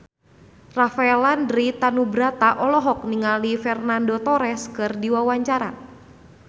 Rafael Landry Tanubrata olohok ningali Fernando Torres keur diwawancara